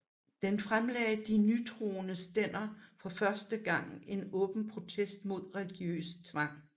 Da fremlagde de nytroende stænder for første gang en åben protest mod religiøs tvang